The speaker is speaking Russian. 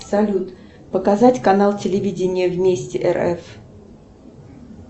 салют показать канал телевидения вместе рф